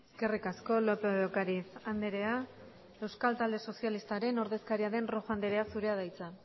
eskerrik asko lópez de ocariz andrea euskal talde sozialistaren ordezkaria den rojo andrea zurea da hitza